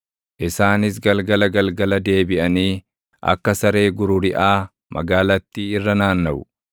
Isaanis galgala galgala deebiʼanii, akka saree gururiʼaa, magaalattii irra naannaʼu.